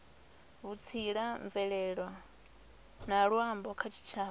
vhutsila mvelele na luambo kha tshitshavha